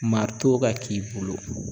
ka k'i bolo